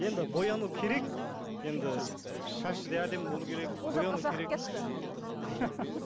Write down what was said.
енді бояну керек енді шашы да әдемі болуы керек